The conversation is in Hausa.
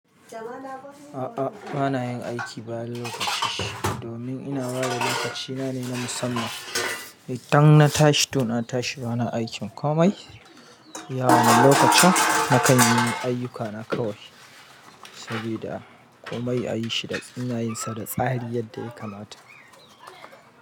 A'a bana yin aiki bayan lokaci, domin ina bada lokacina ne na musamman. Idan na tashi to na tashi bana aikin komai. Ya wane lokacin nakan yi ayyukana kawai. Saboda komai a yi shi da tsina yin sa da tsahari yadda ya kamata.